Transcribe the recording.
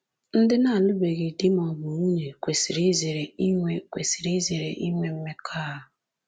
Ndị na-alụbeghị di ma ọ bụ nwunye kwesịrị izere inwe kwesịrị izere inwe mmekọahụ